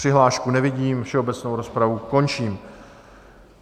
Přihlášku nevidím, všeobecnou rozpravu končím.